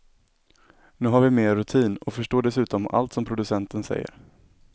Nu har vi mer rutin och förstår dessutom allt som producenten säger.